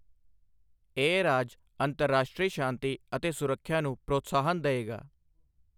ਇਹ ਰਾਜ ਅੰਤਰਰਾਸ਼ਟਰੀ ਸ਼ਾਂਤੀ ਅਤੇ ਸੁਰੱਖਿਆ ਨੂੰ ਪ੍ਰੋਤਸਾਹਨ ਦਏਗਾ।